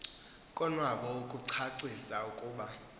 kowabo ukucacisa ukuba